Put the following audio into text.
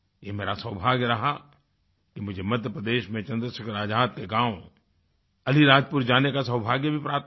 ये मेरा सौभाग्य रहा कि मुझे मध्यप्रदेश में चन्द्रशेखर आज़ाद के गाँव अलीराजपुर जाने का सौभाग्य भी प्राप्त हुआ